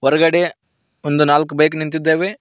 ಒಳಗಡೆ ಒಂದು ನಾಲ್ಕು ಬೈಕ್ ನಿಂತಿದ್ದಾವೆ.